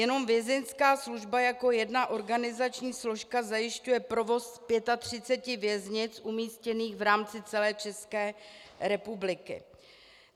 Jenom Vězeňská služba jako jedna organizační složka zajišťuje provoz 35 věznic umístěných v rámci celé České republiky.